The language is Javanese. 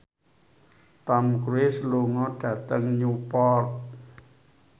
Tom Cruise lunga dhateng Newport